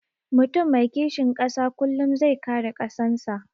Mutum mai kishin ƙasa kullum zai kare ƙasan sa